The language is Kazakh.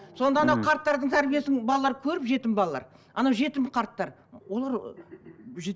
сонда анау қарттардың тәрбиесін балалар көріп жетім балалар анау жетім қарттар олар